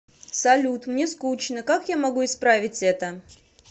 салют мне скучно как я могу исправить это